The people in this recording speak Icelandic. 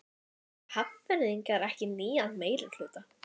Vilja Hafnfirðingar ekki nýjan meirihluta?